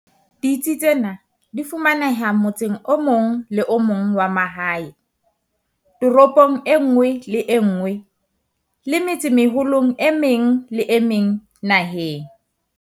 Ditsi tsena di fumaneha motseng o mong le o mong wa mahae, toropong e nngwe le e nngwe le metsemeholong e meng le e meng naheng.